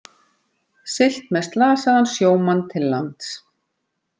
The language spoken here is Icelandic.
Siglt með slasaðan sjómann til lands